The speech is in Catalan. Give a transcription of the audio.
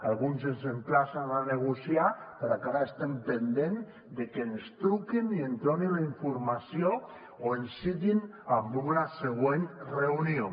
alguns ens emplacen a negociar però encara estem pendents de que ens truquin i ens donin la informació o ens citin en una següent reunió